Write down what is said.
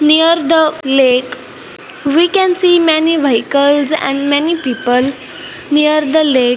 near the lake we can see many vehicles and many people near the lake.